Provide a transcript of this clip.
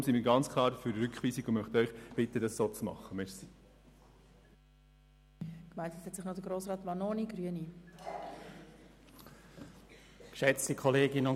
Deshalb sind wir ganz klar für eine Rückweisung, und wir möchten Sie bitten, es uns gleichzutun.